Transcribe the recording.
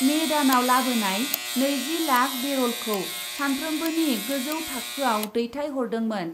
May दानाव लाबोनाय नैजि लाख बेरलखौ सानफ्रोमबोनि गोजौ थाखोआव दैथायहरदोंमोन ।